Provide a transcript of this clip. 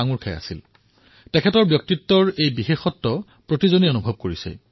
এয়া তেওঁৰ ব্যক্তিত্বৰ সকলোতকৈ অনন্য বিশেষত্বৰ ৰূপত সকলোৱে অনুভৱ কৰিছে